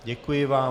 Děkuji vám.